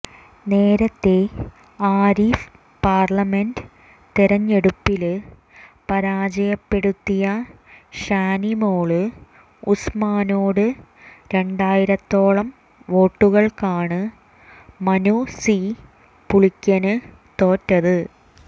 നേരത്തേ ആരിഫ് പാര്ലമെന്റ് തെരഞ്ഞെടുപ്പില് പരാജയപ്പെടുത്തിയ ഷാനിമോള് ഉസ്മാനോട് രണ്ടായിരത്തോളം വോട്ടുകള്ക്കാണ് മനു സി പുളിക്കന് തോറ്റത്